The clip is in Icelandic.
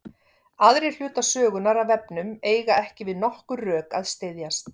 Aðrir hlutar sögunnar af vefnum eiga ekki við nokkur rök að styðjast.